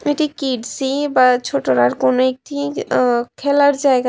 এটি কিডসি বা ছোটরার কোন একটি আ খেলার জায়গা।